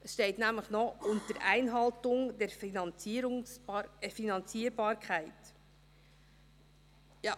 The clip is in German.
Es steht nämlich noch: «unter Einhaltung der Finanzierbarkeit».